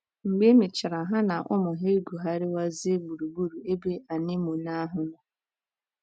Mgbe e mechara, ha na ụmụ ha egwugharịwazie gburugburu ebe anemone ahụ nọ.